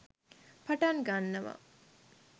පටන් ගන්නවා.